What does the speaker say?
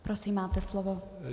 Prosím, máte slovo.